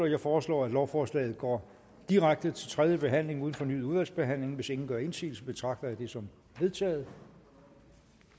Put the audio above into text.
jeg foreslår at lovforslaget går direkte til tredje behandling uden fornyet udvalgsbehandling hvis ingen gør indsigelse betragter jeg det som vedtaget